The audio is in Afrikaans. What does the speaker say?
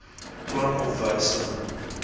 plan of wysiging